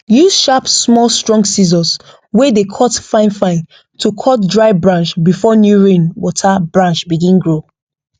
use sharp small strong scissors wey dey cut finefine to cut dry branch before new rain water branch begin grow